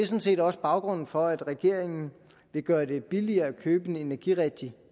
set også baggrunden for at regeringen vil gøre det billigere at købe en energirigtig